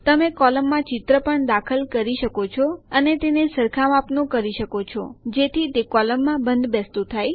તમે કોલમમાં ચિત્ર પણ દાખલ કરી શકો છો અને તેને સરખા માપનું કરી શકો છો જેથી તે કોલમમાં બંધબેસતું થાય